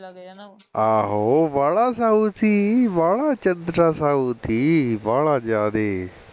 ਆਹੋ ਵਾਹਲਾ ਸਾਊ ਸੀ ਵਾਹਲਾ ਚੰਦਰਾ ਸਾਊ ਸੀ ਵਾਹਲਾ ਜਾਦੇ